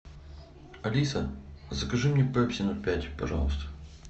алиса закажи мне пепси ноль пять пожалуйста